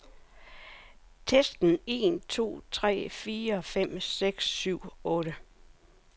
Tester en to tre fire fem seks syv otte.